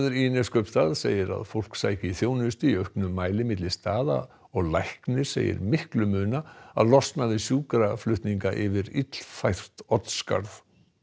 í Neskaupstað segir að fólk sæki þjónustu í auknum mæli milli staða og læknir segir miklu muna að losna við sjúkraflutninga yfir illfært Oddsskarð